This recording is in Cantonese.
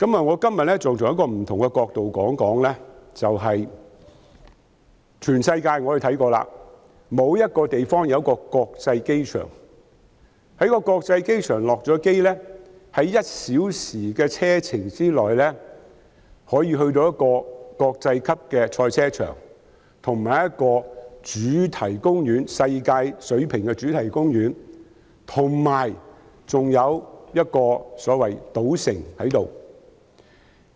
我今天想從另一個角度說說，我研究過全世界多個地方，沒有一個地方的國際機場會容許旅客下機後，在1小時的車程內便到達一個國際級的賽車場和世界水平的主題公園，以及一個所謂的賭城。